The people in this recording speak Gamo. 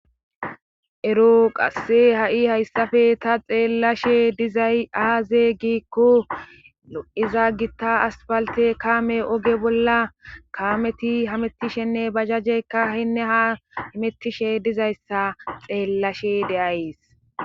Ero qasse ha7i hayssafe ta xeellashe dizay aazey gikko lo7iza gitta aspalte kaame oge bolla kaameti hamettishenne bajajeyka hinne ha amettishe dizayssa xeellashe de'ays.